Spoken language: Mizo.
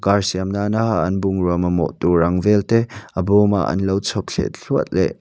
car siam nana an bungrua mamawh tur ang vel te a bawma an lo chhawp thliah thluah leh.